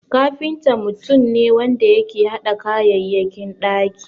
Kafinta mutum ne wanda yake hada kayayyakin ɗaki.